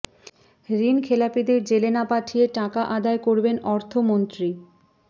ঋণ খেলাপিদের জেলে না পাঠিয়ে টাকা আদায় করবেন অর্থমন্ত্রী